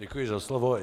Děkuji za slovo.